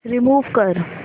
remove कर